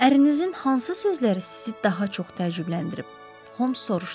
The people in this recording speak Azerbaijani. Ərinizin hansı sözləri sizi daha çox təəccübləndirib?